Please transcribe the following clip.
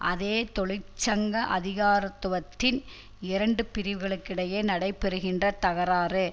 அதே தொழிற்சங்க அதிகாரத்துவத்தின் இரண்டு பிரிவுகளுக்கிடையே நடைபெறுகின்ற தகராறு